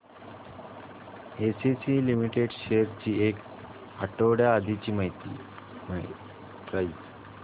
ACC limited shares ची एक आठवड्या आधीची प्राइस